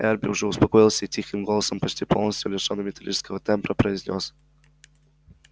эрби уже успокоился и тихим голосом почти полностью лишённым металлического тембра произнёс